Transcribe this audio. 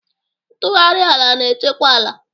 Ntugharị ala na-echekwa ala.